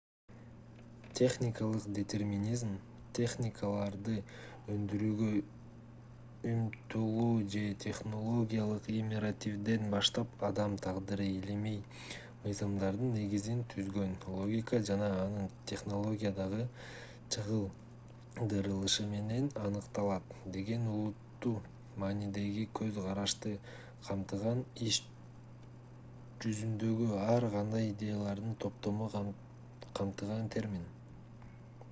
технологиялык детерминизм технологияларды өндүрүүгө умтулуу же технологиялык императивден баштап адам тагдыры илимий мыйзамдардын негизин түзгөн логика жана анын технологиядагы чагылдырылышы менен аныкталат деген олуттуу маанидеги көз карашты камтыган иш жүзүндөгү ар кандай идеялардын топтомун камтыган термин